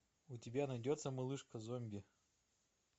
у тебя найдется малышка зомби